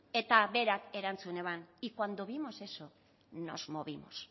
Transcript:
eta berak erantzun eban y cuando vimos eso nos movimos